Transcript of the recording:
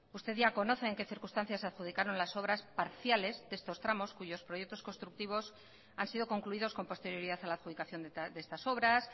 usted ya conoce en qué circunstancias se adjudicaron las obras parciales de estos tramos cuyos proyectos constructivos han sido concluidos con posterioridad a la adjudicación de estas obras